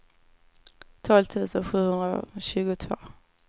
tolv tusen sjuhundratjugotvå